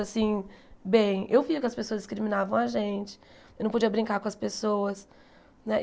Assim, bem, eu via que as pessoas discriminavam a gente, eu não podia brincar com as pessoas, né?